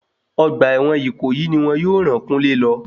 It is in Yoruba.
Ọgbà ẹ̀wọ̀n ìkòyí ni wọn yóò ràn kúnlé lọ.